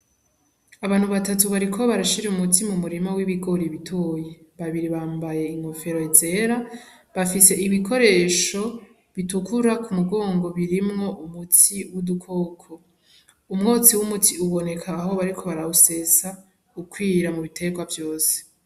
Abantu batatu bariko barashira umuti m'umurima w'ibigori bitoya, babiri bambaye inkofero zera bafise ibikoresho bitukura kumugongo birimwo umuti w'udukoko umwotsi w' umuti uboneka aho bariko barawusesa ukwira mubiterwa vyose.